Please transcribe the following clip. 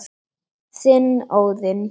Þinn, Óðinn.